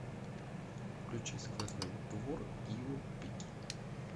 включи сквозной двор гио пики